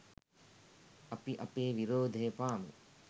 අපි අපේ විරෝධය පාමු.